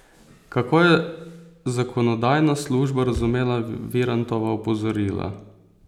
Kako je zakonodajna služba razumela Virantova opozorila?